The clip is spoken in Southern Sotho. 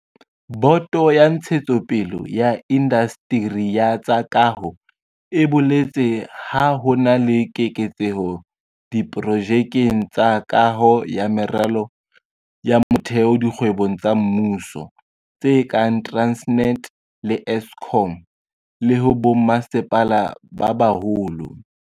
Boto ya Ntshetsopele ya Indasteri ya tsa Kaho e boletse ha ho na le keketseho diprojekeng tsa kaho ya meralo ya motheo dikgwebong tsa mmuso tse kang Transnet le Eskom, le ho bommasepala ba baholo.